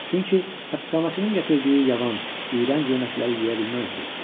Çünki həbsxanaçının gətirdiyi yavan, iyrənc yeməkləri yeyə bilməzdi.